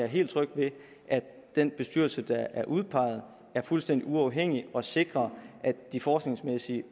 helt tryg ved at den bestyrelse der er udpeget er fuldstændig uafhængig og sikrer at de forskningsmæssige